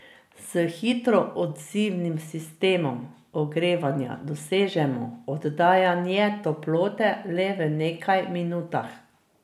S hitro odzivnim sistemom ogrevanja dosežemo oddajanje toplote v le nekaj minutah.